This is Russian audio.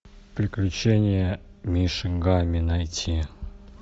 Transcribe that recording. приключения мишек гамми найти